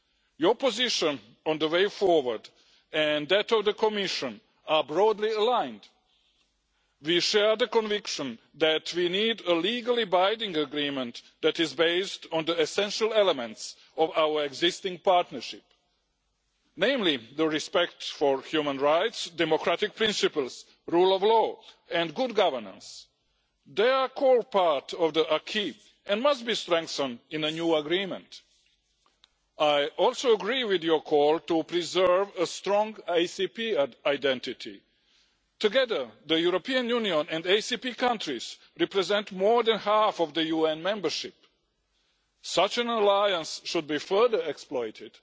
Your position on the way forward and that of the Commission are broadly aligned. We share the conviction that we need a legally binding agreement that is based on the essential elements of our existing partnership, namely respect for human rights, democratic principles, the rule of law and good governance. They are all part of the acquis and must be strengthened in the new agreement. I also agree with your call to preserve a strong ACP identity. Together, the European Union and ACP countries represent more than half of the UN membership. Such an alliance should be further exploited.